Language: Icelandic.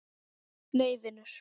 Nei vinur.